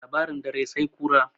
labarin dare sai kura